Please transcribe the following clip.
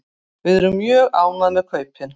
Við erum mjög ánægð með kaupin.